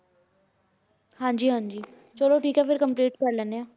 ਹਾਂਜੀ ਹਾਂਜੀ ਚਲੋ ਠੀਕ ਹੈ ਫਿਰ complete ਕਰ ਲੈਂਦੇ ਹਾਂ।